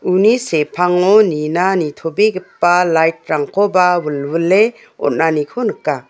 uni sepango nina nitobegipa lait rangkoba wilwile on·aniko nika.